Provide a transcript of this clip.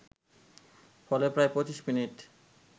ফলে প্রায় ২৫ মিনিট